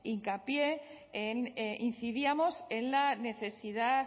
hincapié incidíamos en la necesidad